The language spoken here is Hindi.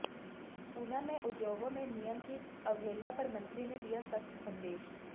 ऊना में उद्योगों में नियमों की अवहेलना पर मंत्री ने दिया सख्त संदेश